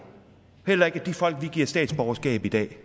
at de folk vi giver statsborgerskab i dag